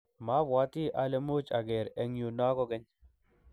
mabwatii ale much ager eng yu no kokeny